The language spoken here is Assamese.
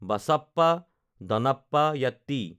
বাচাপ্পা দনাপ্পা যাত্তি